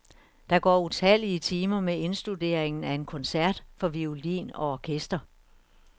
Der går utallige timer med indstuderingen af en koncert for violin og orkester.